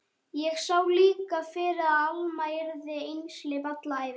Ég sá líka fyrir að Alma yrði einhleyp alla ævi.